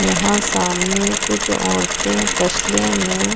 यहाँ सामने कुछ औरतें तशले में--